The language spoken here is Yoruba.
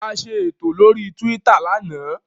A ṣe ètò lórí Twitter lánàá